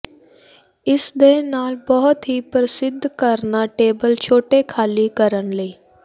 ਇਸ ਦੇ ਨਾਲ ਬਹੁਤ ਹੀ ਪ੍ਰਸਿੱਧ ਕਰਣਾ ਟੇਬਲ ਛੋਟੇ ਖਾਲੀ ਕਰਨ ਲਈ